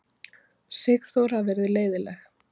Sigþóra verið leiðinleg.